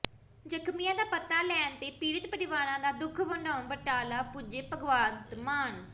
ਜ਼ਖਮੀਆਂ ਦਾ ਪਤਾ ਲੈਣ ਤੇ ਪੀੜਤ ਪਰਿਵਾਰਾਂ ਦਾ ਦੁੱਖ ਵੰਡਾਉਣ ਬਟਾਲਾ ਪੁੱਜੇ ਭਗਵੰਤ ਮਾਨ